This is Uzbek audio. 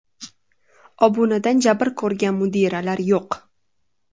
Obunadan jabr ko‘rgan mudiralar yo‘q.